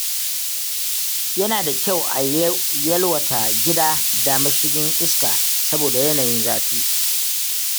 Yana da kyau a yalwata gida da mashigan iska saboda yanayin zafi.